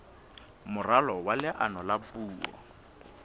moralo wa leano la puo